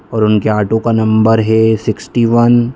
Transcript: और उनके ऑटो का नंबर है सिक्सटी वन ।